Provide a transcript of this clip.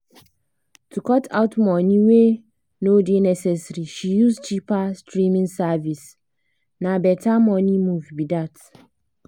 to cut out money wey no dey necessary she choose cheaper streaming service — na better money move be that.